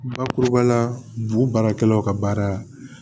Bakuruba la bu baarakɛlaw ka baara